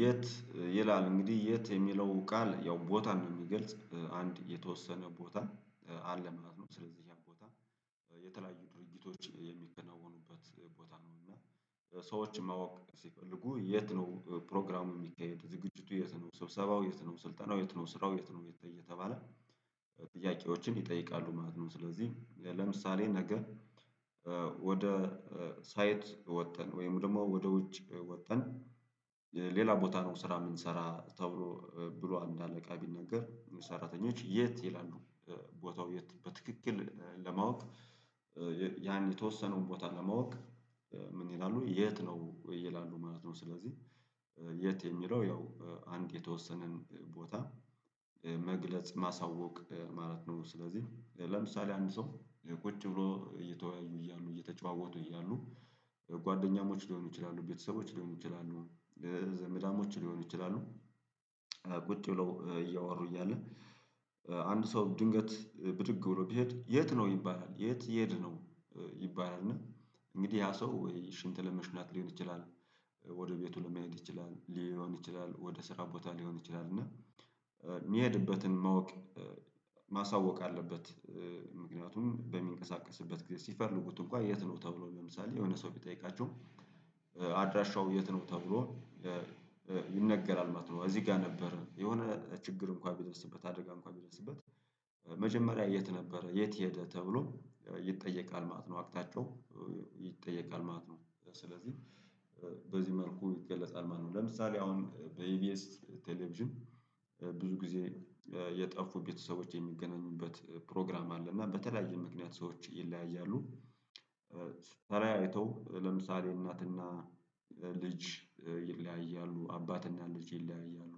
የት ይላል እንግዲህ የት የሚለው ቃል ያው ቦታ ነው የሚገልጽ አንድ የተወሰነ ቦታ አለ ምናልባት ነው ስለዚህ ያን ቦታ። የተለያዩ ድርጊቶች የሚከናወኑበት ቦታ ነው እና ሰዎችን ማወቅ ሲፈልጉ የት ነው ፕሮግራሙ የሚካሄዱ ዝግጅቱ የት ነው ስብሰባው የት ነው ስልጠናው የት ነው ስራው የት ነው እየተባለ ጥያቄዎችን ይጠይቃሉ ማለት ነው። ስለዚህ ለምሳሌ ነገ ወደ ሳይት ወጠን ወይም ደግሞ ወደ ውጭ ወጠን። ሌላ ቦታ ነው ስራ የምንሰራ ተብሎ ብሎ አንድ አለቃ ቢነገር ሰራተኞች የት ይላሉ ቦታው በትክክል ለማወቅ ያን የተወሰኑን ቦታ ለማወቅ ምን ይላሉ የት ነው ይላሉ ማለት ነው። ስለዚህ የት የሚለው ያው አንድ የተወሰነን ቦታ መግለጽ ማሳወቅ ማለት ነው። ስለዚህ ለምሳሌ አንድ ሰው ቁጭ ብሎ እየተወያዩ እያሉ እየተጨዋወቱ እያሉ ጓደኛሞች ሊሆኑ ይችላሉ ቤተሰቦች ሊሆኑ ይችላሉ ዘመዳሞች ሊሆኑ ይችላሉ። ቁጭ ብለው እያወሩ እያለ አንድ ሰው ድንገት ብድግ ብሎ ቢሄድ የት ነው ይባላል የት እየሄድ ነው ይባላል። እና እንግዲህ ያ ሰው ወይ ሽንት ለመሽናት ሊሆን ይችላል ወደ ቤቱ ለመሄድ ይችላል ሊሆን ይችላል ወደ ስራ ቦታ ሊሆን ይችላል እና የሚሄድበትን ማወቅ ማሳወቅ አለበት። ምክንያቱም በሚንቀሳቀስበት ጊዜ ሲፈልጉት እንኳን የት ነው ተብሎ ለምሳሌ የሆነ ሰው ቢጠይቃቸው አድራሻው የት ነው ተብሎ ይነገራል ማለት ነው። እዚህ ጋር ነበር የሆነ ችግር እንኳን ቢደስበት አደጋ እንኳን ቢደርስበት መጀመሪያ የት ነበረ የት ሄደ ተብሎ ይጠየቃል ማለት ነው አቅጣጫው ይጠየቃል ማለት ነው። ስለዚህ በዚህ መልኩ ይገለጻል ማለት ነው ለምሳሌ አሁን በኢቢኤስ ቴሌቪዥን ብዙ ጊዜ የጠፉ ቤተሰቦች የሚገናኙበት ፕሮግራም አለ እና በተለያየ ምክንያት ሰዎች ይለያያሉ። ትለያይተው ለምሳሌ እናትና ልጅ ይለያያሉ አባትና ልጅ ይለያያሉ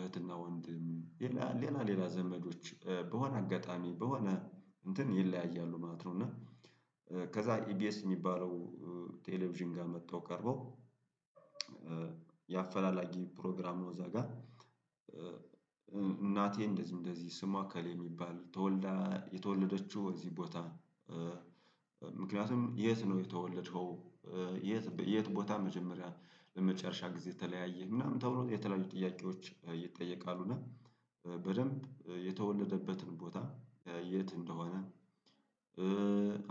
እህትና ወንድም ሌላ ሌላ ዘመዶች በሆነ አጋጣሚ በሆነ እንትን ይለያያሉ ማለት ነው። እና ከዛ ኢቢኤስ የሚባለው ቴሌቪዥን ጋር መጥተው ቀርበው የአፈላላጊ ፕሮግራም ነው። እዛ ጋር እናቴ እንደዚህ እንደዚህ ስሙ አከል የሚባል የተወለደችው እዚህ ቦታ ምክንያቱም የት ነው የተወለድከው? የት ቦታ መጀመሪያ ለመጨረሻ ጊዜ የተለያየ ምናምን ተብሎ የተለያዩ ጥያቄዎች ይጠየቃሉ እና በደንብ የተወለደበትን ቦታ የት እንደሆነ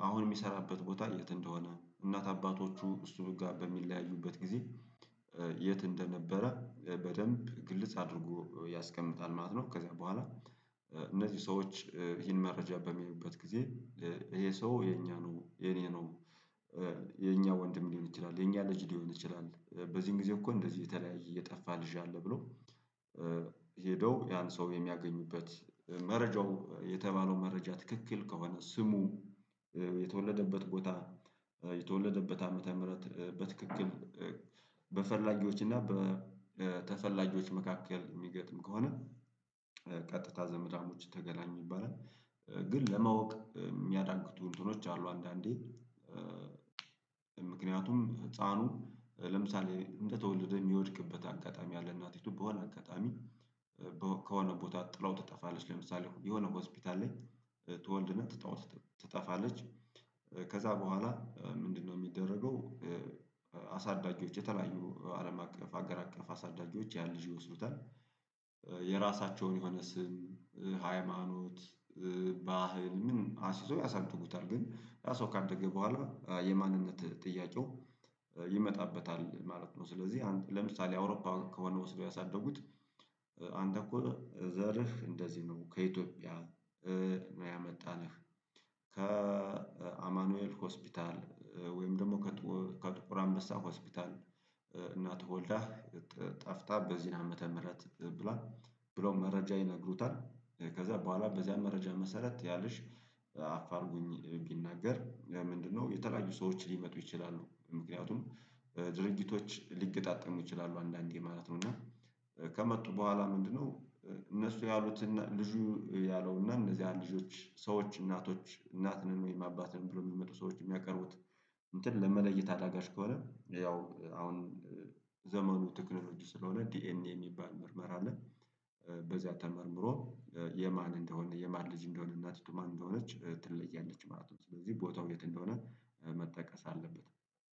አሁን የሚሰራበት ቦታ የት እንደሆነ እናት አባቶቹ እሱ በሚለያዩበት ጊዜ የት እንደነበረ በደንብ ግልጽ አድርጎ ያስቀምጣል ማለት ነው። ከዛ በኋላ እነዚህ ሰዎች ይሄን መረጃ በሚይዩበት ጊዜ ይሄ ሰው የኛ ነው የኔ ነው። የኛ ወንድም ሊሆን ይችላል የኛ ልጅ ሊሆን ይችላል በዚህን ጊዜ እኮ እንደዚህ የተለያየ የጠፋ ልጅ አለ ብሎ ሄደው ያን ሰው የሚያገኙበት መረጃው የተባለው መረጃ ትክክል ከሆነ ስሙ የተወለደበት ቦታ የተወለደበት ዓመተ ምህረት በትክክል በፈላጊዎች እና በተፈላጊዎች መካከል የሚገትም ከሆነ ቀጥታ ዘመዳሞች ተገናኙ ይባላል። ግን ለማወቅ የሚያዳግቱ ነገሮች አሉ አንዳንዴ ምክንያቱም ህፃኑ ለምሳሌ እንደተወለደ የሚወድቅበት አጋጣሚ ያለ እናቲቱ በሆነ አጋጣሚ ከሆነ ቦታ ጥለው ትጠፋለች ለምሳሌ የሆነ ሆስፒታል ላይ ትወልድና ትታው ትጠፋለች። ከዛ በኋላ ምንድነው የሚደረገው? አሳዳጊዎች የተለያዩ አለም አቀፍ አገር አቀፍ አሳዳጊዎች ያን ልጅ ይወስዱታል የራሳቸውን የሆነ ስም ሃይማኖት ባህል ምን አስይዘው ያሳድጉታል ግን ያ ሰው ካደገ በኋላ የማንነት ጥያቄው ይመጣበታል ማለት ነው። ስለዚህ አንተ ለምሳሌ አውሮፓ ከሆነ ወስደው ያሳደጉት አንተ እኮ ዘርህ እንደዚህ ነው ከኢትዮጵያ ነው ያመጣነህ ከአማኑኤል ሆስፒታል ወይም ደግሞ ከጥቁር አንበሳ ሆስፒታል እናትህ ተወልዳ ጠፍታ በዚህ ዓመተ ምህረት ብሏል። ብሎ መረጃ ይነግሩታል ከዛ በኋላ በዚያ መረጃ መሰረት ያልሽ አፋልጉኝ ቢናገር ለምንድነው የተለያዩ ሰዎች ሊመጡ ይችላሉ ምክንያቱም ድርጊቶች ሊገጣጠሙ ይችላሉ አንዳንዴ ማለት ነው። እና ከመጡ በኋላ ምንድነው? እነሱ ያሉት ልጁ ያለው እና እነዚህ ልጆች ሰዎች እናቶች እናት ነን ወይም አባት ነን ብሎ የሚመጡ ሰዎች የሚያቀርቡት እንትን ለመለየት አዳጋች ከሆነ ያው አሁን ዘመኑ ቴክኖሎጂ ስለሆነ ዲኤንኤ የሚባል ምርመራ አለ በዚያ ተመርምሮ የማን እንደሆነ የማን ልጅ እንደሆነ እናት ማን እንደሆነች ትለያለች ማለት ነው። ስለዚህ ቦታው የት እንደሆነ መጠቀስ አለበት